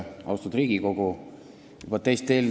Austatud Riigikogu!